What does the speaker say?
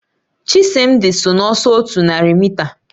Chisimdi so n'ọsọ otu narị mita